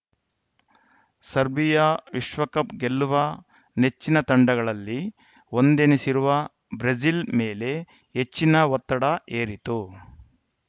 Serbia ವಿಶ್ವಕಪ್‌ ಗೆಲ್ಲುವ ನೆಚ್ಚಿನ ತಂಡಗಳಲ್ಲಿ ಒಂದೆನಿಸಿರುವ ಬ್ರೆಜಿಲ್‌ ಮೇಲೆ ಹೆಚ್ಚಿನ ಒತ್ತಡ ಹೇರಿತು